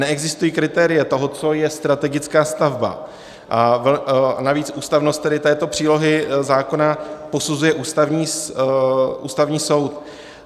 Neexistují kritéria toho, co je strategická stavba, a navíc ústavnost tedy této přílohy zákona posuzuje Ústavní soud.